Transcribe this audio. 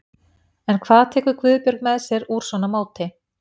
En hvað tekur Guðbjörg með sér úr svona móti?